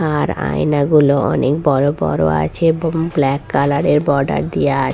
আর আয়নাগুলো অনেক বড় বড় আছে এব-বং ব্ল্যাক কালার -এর বর্ডার দিয়ে আ --